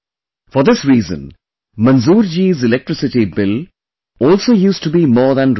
For this reason, Manzoorji's electricity bill also used to be more than Rs